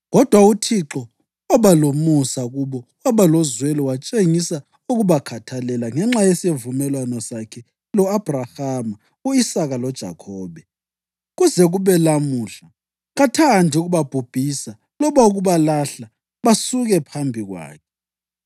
Kodwa uThixo waba lomusa kubo waba lozwelo watshengisela ukubakhathalela ngenxa yesivumelwano sakhe lo-Abhrahama, u-Isaka loJakhobe. Kuze kube lamuhla kathandi ukubabhubhisa loba ukubalahla basuke phambi kwakhe.